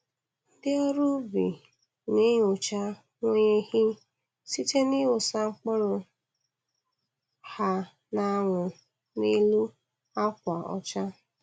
Ndị ọrụ ubi na-enyocha nweyeghi site n'ịwụsa mkpụrụ ha n'anwụ n'elu akwa ọcha.